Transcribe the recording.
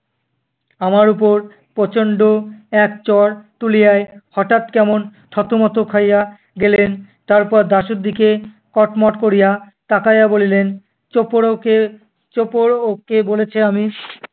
আমার ওপর প্রচন্ড এক চড় তুলিয়াই হঠাৎ কেমন থতমত খাইয়া গেলেন তারপর দাশুর দিকে কটমট করিয়া তাকাইয়া বলিলেন, কে বলেছে আমি